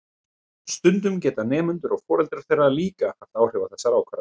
Stundum geta nemendur og foreldrar þeirra líka haft áhrif á þessar ákvarðanir.